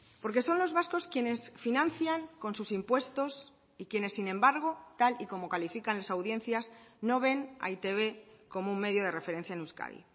porque son los vascos quienes financian con sus impuestos y quienes sin embargo tal y como califican las audiencias no ven a e i te be como un medio de referencia en euskadi